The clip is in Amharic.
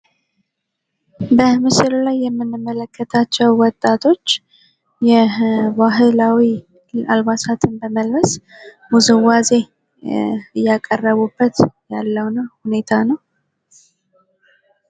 በምስሉ ላይ የምንመለከታቸው ወጣቶች የባህላዊ አልባሳትን በመልበስ ውዝዋዜ እያቀረቡበት ያለውን ሁኔታ ነው ።